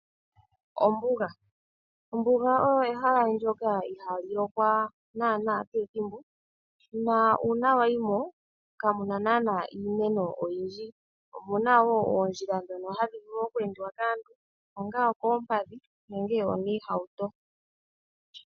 Ombuga Ombuga olyo ehala ndyoka ihali lokwa kehe ethimbo na uuna wayimo kamuna naana iimeno oyindji. Omuna wo oondjila dhono hadhi vulu okweendiwa kaantu onga okoompadhi nenge omiihauto.